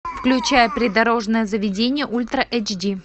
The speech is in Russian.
включай придорожное заведение ультра эйч ди